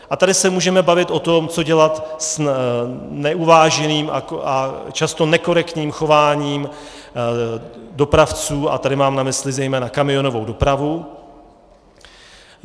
A tady se můžeme bavit o tom, co dělat s neuváženým a často nekorektním chováním dopravců - a tady mám na mysli zejména kamionovou dopravu.